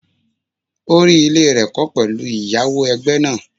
O rí ilé rẹ̀ kọ́ pẹ̀lú ìyáwó ẹgbẹ́ náà.